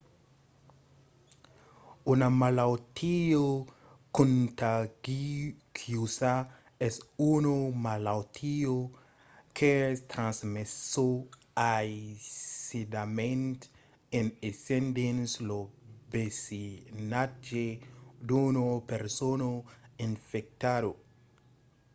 una malautiá contagiosa es una malautiá qu’es transmesa aisidament en essent dins lo vesinatge d’una persona infectada